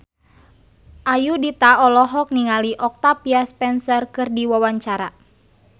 Ayudhita olohok ningali Octavia Spencer keur diwawancara